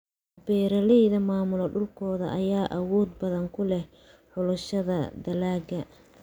Beeraleyda maamula dhulkooda ayaa awood badan ku leh xulashada dalagga.